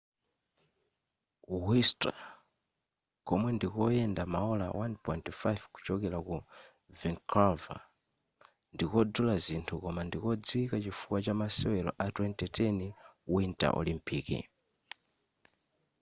whistler komwe ndikoyenda maola 1.5 kuchokera ku vancouver ndikodula zinthu koma ndi kodziwika chifukwa chamasewelo a 2010 winter olympic